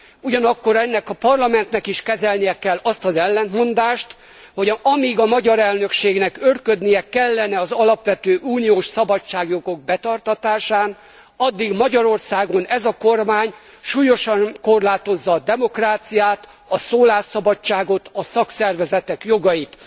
Ugyanakkor ennek a Parlamentnek is kezelnie kell azt az ellentmondást, hogy amíg a magyar elnökségnek őrködnie kellene az alapvető uniós szabadságjogok betartatásán, addig Magyarországon ez a kormány súlyosan korlátozza a demokráciát, a szólásszabadságot, a szakszervezetek jogait.